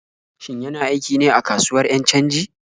Shin yana aiki ne a kasuwar 'yan canji?